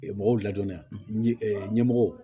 Mɔgɔw ladɔnni yan ɲɛmɔgɔw